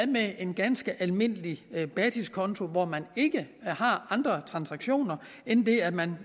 med en ganske almindelig basiskonto hvor man ikke har andre transaktioner end det at man